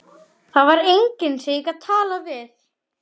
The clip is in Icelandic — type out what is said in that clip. Það var enginn sem ég gat talað við.